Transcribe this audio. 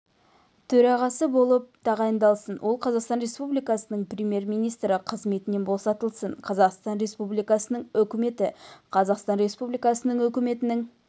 төрағасы болып тағайындалсын ол қазақстан республикасының премьер-министрі қызметінен босатылсын қазақстан республикасының үкіметі қазақстан республикасы үкіметінің